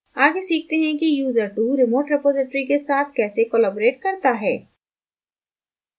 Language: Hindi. आगे सीखते हैं कि user2 remote repository के साथ कैसे collaborate कर सकता है